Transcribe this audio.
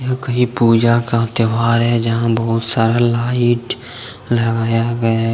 ये कहीं पूजा का त्यौहार है यहां बहुत सारा लाइट लगाया गया है।